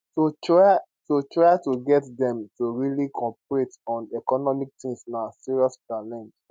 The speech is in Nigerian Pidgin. to try to try to get dem to really cooperate on economic things na serious challenge